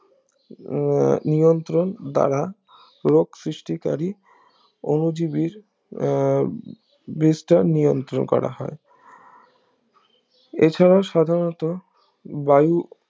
আহ নিয়ন্ত্রণ দ্বারা রোগ সৃষ্টি করি অনুজীবীর আহ বীজটা নিয়ন্ত্রণ করা হয় এছাড়াও সাধারণত বায়ু